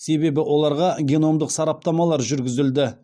себебі оларға геномдық сараптамалар жүргізілді